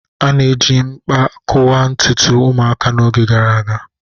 A na-eji mkpa kụwaa ntutu ụmụaka n'oge gara aga